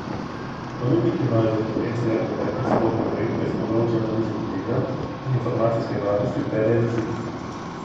Ponudniki imajo za reference le pretekle sorodne projekte s področij analize tveganj in informacijske varnosti ter revizij.